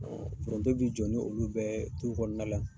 Foronto bi jɔ ni olu bɛ ye dukɔrɔna la.